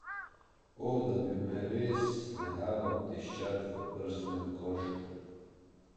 O, da bi me res nehalo tiščat v prsnem košu!